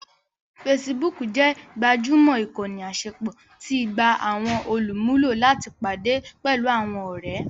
Facebook jẹ́ gbajúmọ̀ ìkànnì àṣepọ̀ tí í gba àwọn olùmúlò láti pàdé pẹ̀lú àwọn ọ̀rẹ́